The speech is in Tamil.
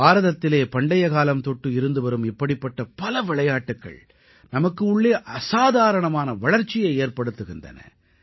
பாரதத்திலே பண்டைய காலம் தொட்டு இருந்துவரும் இப்படிப்பட்ட பல விளையாட்டுக்கள் நமக்கு உள்ளே அசாதாரணமான வளர்ச்சியை ஏற்படுத்துகின்றன